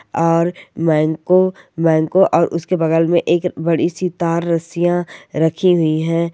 और मैनको मैनको और उसके बगल में एक बड़ी सी तार रस्सियाँ रखी हुई है।